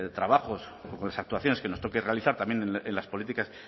trabajos o con las actuaciones que nos toque realizar también en las políticas